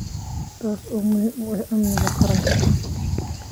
taasoo muhiim u ah amniga qaranka.